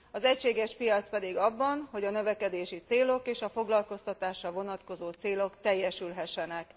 Az egységes piac pedig abban, hogy a növekedési célok és a foglalkoztatásra vonatkozó célok teljesülhessenek.